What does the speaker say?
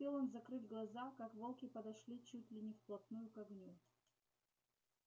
не успел он закрыть глаза как волки подошли чуть ли не вплотную к огню